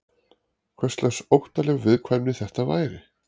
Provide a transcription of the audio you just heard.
Hverslags óttaleg viðkvæmni þetta væri?